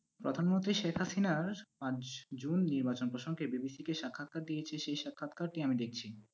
প্রধানমন্ত্রী শেখ হাসিনার আজ জুন নির্বাচন প্রসঙ্গে BBC কে সাক্ষাৎকার দিয়েছে সেই সাক্ষাৎকারটি আমি দেখছি।